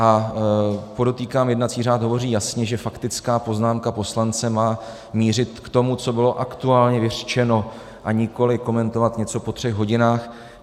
A podotýkám, jednací řád hovoří jasně, že faktická poznámka poslance má mířit k tomu, co bylo aktuálně vyřčeno, a nikoli komentovat něco po třech hodinách.